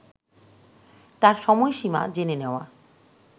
তার সময়সীমা জেনে নেওয়া